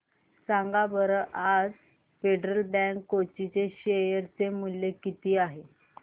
सांगा बरं आज फेडरल बँक कोची चे शेअर चे मूल्य किती आहे